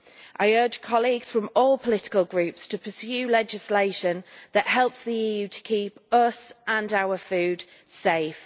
I urge colleagues from all political groups to pursue legislation that helps the EU to keep us and our food safe.